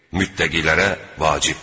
Müttəqilərə vacibdir.